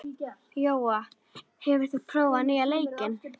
Jóa, hefur þú prófað nýja leikinn?